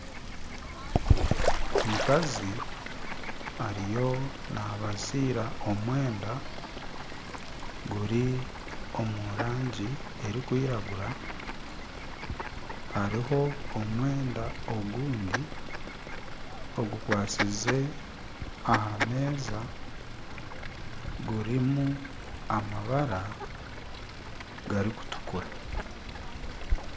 Omukazi ariyo nabaziira omwenda guri omu rangi erikwiragura hariho omwenda ogundi ogukwatsize aha meeza gurimu amabara garikutukura.